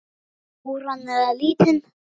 Stóran eða lítinn?